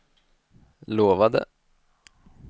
lovade